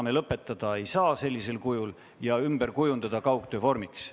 Me ei saa seda sellisel kujul lõpetada ja kujundada ümber kaugistungiks.